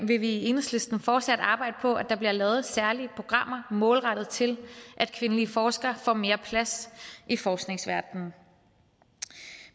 vil vi i enhedslisten fortsat arbejde på at der bliver lavet særlige programmer målrettet til at kvindelige forskere får mere plads i forskningsverdenen